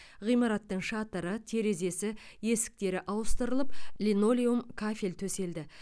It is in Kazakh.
ғимараттың шатыры терезесі есіктері ауыстырылып линолеум кафель төселді